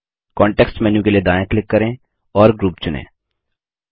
context menu के लिए दायाँ क्लिक करें और ग्रुप चुनें